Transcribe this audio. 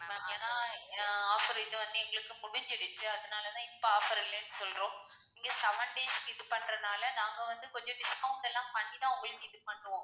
ma'am ஏன்னா ஆஹ் offer வந்து எங்களுக்கு முடிஞ்சுடுச்சு, அதுனால தான் இப்போ offer சொல்றோம், நீங்க seven days கு இது பண்றதுனால நாங்க வந்து கொஞ்சம் discount எல்லாம் பண்ணி தான் உங்களுக்கு இது பண்ணுவோம்.